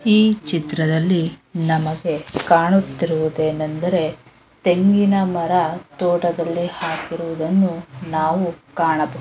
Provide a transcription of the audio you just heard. ಈ ಚಿತ್ರದಲ್ಲಿ ನಮಗೆ ಕಾಣುತ್ತಿರುವುದೇನಂದರೆ ತೆಂಗಿನ ಮರ ತೋಟದಲ್ಲಿ ಹಾಕಿರುವುದನ್ನು ನಾವು ಕಾಣಬ್--